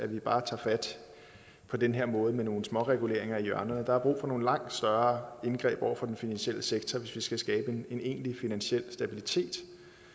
vi bare tager fat på den her måde med nogle småreguleringer af hjørnerne der er brug for nogle langt større indgreb over for den finansielle sektor hvis vi skal skabe en egentlig finansiel stabilitet